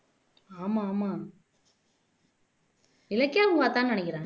ஆமா ஆமா இலக்கியாவும் பாத்தான்னு நினைக்கிறேன்